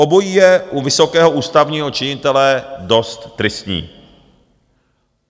Obojí je u vysokého ústavního činitele dost tristní.